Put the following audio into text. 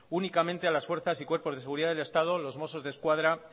únicamente a las fuerzas y cuerpos de seguridad del estado os mossos de escuadra